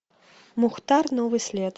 мухтар новый след